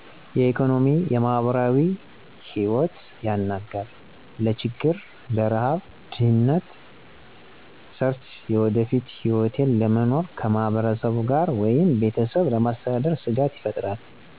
የኢኮኖሚ፣ ማህበራዊ ህይወት ያናጋል። ለችግር፣ ርሀብ ድህነት ሰርቸ የወደፊት ህይወቴን ለመኖር ከማህበረሰቡ ጋር ወይም ቤተሰብ ለማስተዳደር ስጋት ይፈጥራል።